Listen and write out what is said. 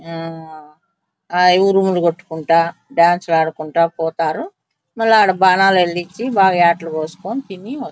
ఆహ్ హాయిగా ఉరుములు కొట్టుకుంట డాన్స్ లు ఆడుకుంటా పోతారు మల్ల అడా బాణాలు ఎలిగించి బాగా యాటలు కోసి తిని వస్తారు.